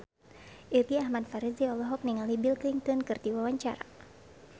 Irgi Ahmad Fahrezi olohok ningali Bill Clinton keur diwawancara